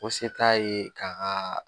Ko se t'a ye k'a kaa